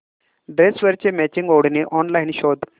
ड्रेसवरची मॅचिंग ओढणी ऑनलाइन शोध